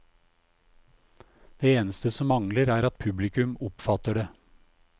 Det eneste som mangler er at publikum oppfatter det.